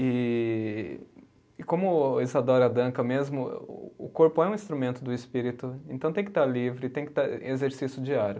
E e como Isadora Duncan mesmo, o o corpo é um instrumento do espírito, então tem que estar livre, tem que estar em exercício diário.